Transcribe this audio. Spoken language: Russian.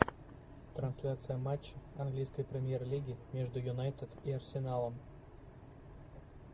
трансляция матча английской премьер лиги между юнайтед и арсеналом